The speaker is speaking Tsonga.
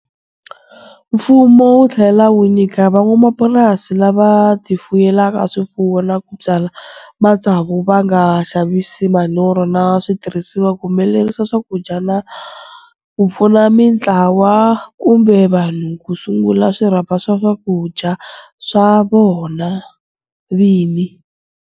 Mfumo wu tlhela wu nyika van'wamapurasi lava tifuyelaka swifuwo na ku byala matsavu va nga xavisi manyoro na switirhisiwa ku humelerisa swakudya, na ku pfuna mitlawa kumbe vanhu ku sungula swirhapa swa swakudya swa vona vini.